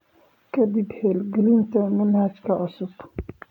Ka dib hirgelinta manhajka cusub.